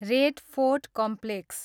red fort complex